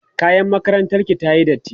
kayan makarantar ki tayi datti?